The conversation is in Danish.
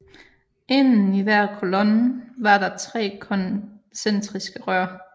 Inden i hver kolonne var der tre koncentriske rør